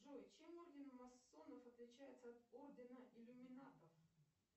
джой чем орден масонов отличается от ордена иллюминатов